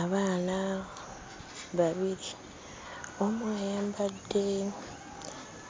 Abaana babiri. Omu ayambadde